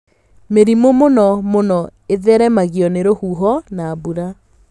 Mĩrimũ mũno mũno ĩtheremagio nĩ rũhuho na mbura.